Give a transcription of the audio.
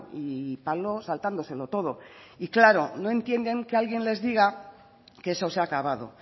y palo saltándoselo todo y claro no entienden que alguien les diga que eso se ha acabado